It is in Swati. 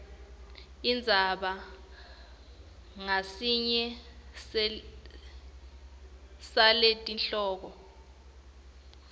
indzaba ngasinye saletihloko